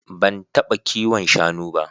Ban taɓa kiwon shanu ba.